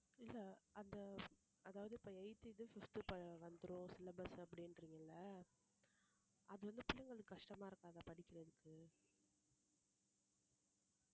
இல்ல அத அதாவது இப்ப eighth இது fifth வந்துரும் syllabus அப்படின்றீங்கல்ல அது வந்து பிள்ளைங்களுக்கு கஷ்டமா இருக்காதா படிக்கிறதுக்கு